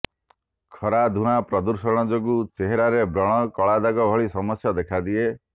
ଖରା ଧୁଆଁ ପ୍ରଦୂଷଣ ଯୋଗୁଁ ଚେହେରାରେ ବ୍ରଣ କଳାଦାଗ ଭଳି ସମସ୍ୟା ଦେଖାଦିଏ